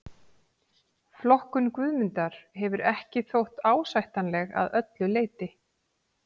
Flokkun Guðmundar hefur ekki þótt ásættanleg að öllu leyti.